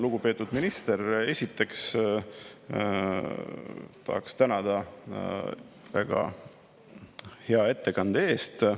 Lugupeetud minister, esiteks tahaks teid tänada väga hea ettekande eest.